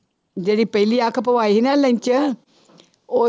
ਜਿਹੜੀ ਪਹਿਲੀ ਅੱਖ ਪਵਾਈ ਸੀ ਨਾ ਲੈਂਚ ਉਹ